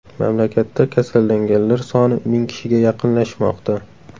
Mamlakatda kasallanganlar soni ming kishiga yaqinlashmoqda.